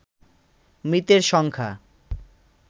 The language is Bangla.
মৃতের সংখ্যা